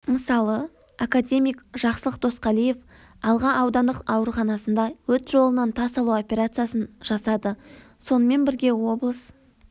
мысалы академик жақсылық досқалиев алға аудандық ауруханасында өт жолынан тас алу операциясын жасады сонымен бірге облыс